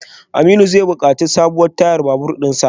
Aminu zai bukaci sabon tayar babur dinsa.